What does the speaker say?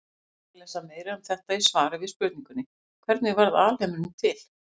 Hægt er að lesa meira um þetta í svari við spurningunni Hvernig varð alheimurinn til?